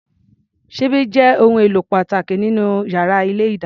Ṣíbí jẹ́ ohun èlò pàtàkì nínú yàrá ilé-ìdáná.